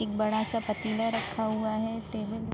एक बड़ा सा पतीला रखा हुआ है टेबल --